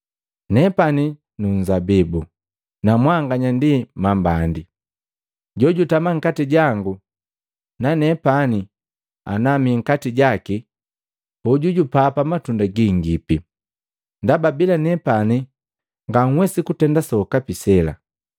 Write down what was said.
“Nepani nunzabibu, na mwanganya ndi mambandi. Jojutama nkati jangu, nanepani anami nkati jaki, hoju jupapa matunda gingipi, ndaba bila nepani nganhwesi kutenda sokapi sela.